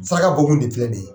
Saraka bɔ kun de filɛ ni ye.